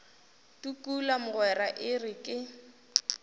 tukula mogwera e re ke